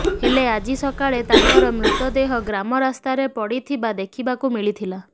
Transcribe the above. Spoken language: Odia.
ହଲେ ଆଜି ସକାଳେ ତାଙ୍କର ମୃତଦେହ ଗ୍ରାମ ରାସ୍ତାରେ ପଡିଥିବା ଦେଖିବାକୁ ମିଳିଥିଲା